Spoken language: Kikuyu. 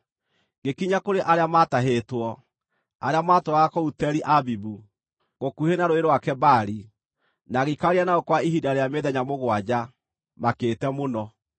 Ngĩkinya kũrĩ arĩa maatahĩtwo, arĩa maatũũraga kũu Teli-Abibu, gũkuhĩ na Rũũĩ rwa Kebari, na ngĩikarania nao kwa ihinda rĩa mĩthenya mũgwanja, makĩte mũno.